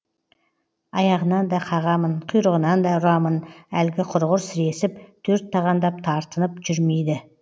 аяғынан да қағамын құйрығынан да ұрамын әлгі құрғыр сіресіп төрт тағандап тартынып жүрмейді